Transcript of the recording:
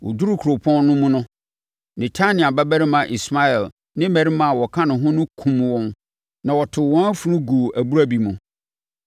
Wɔduruu kuropɔn no mu no, Netania babarima Ismael ne mmarima a wɔka ne ho no kumm wɔn na wɔtoo wɔn afunu guu abura bi mu.